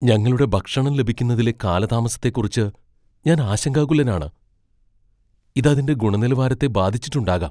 ഞങ്ങളുടെ ഭക്ഷണം ലഭിക്കുന്നതിലെ കാലതാമസത്തെക്കുറിച്ച് ഞാൻ ആശങ്കാകുലനാണ്. ഇത് അതിന്റെ ഗുണനിലവാരത്തെ ബാധിച്ചിട്ടുണ്ടാകാം.